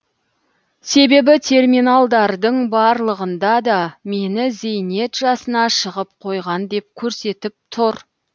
себебі терминалдардың барлығында да мені зейнет жасына шығып қойған деп көрсетіп тұр